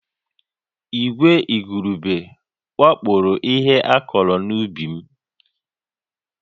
Ìgwè igurube wakporo ihe a kụrụ n'ubi m